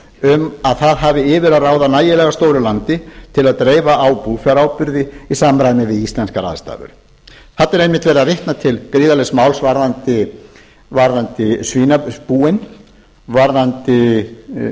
um að það hafi yfir að ráða nægilega stóru landi til að dreifa á búfjáráburði í samræmi við íslenskar aðstæður þarna er einmitt verið að vitna til gríðarlegs máls varðandi svínabúin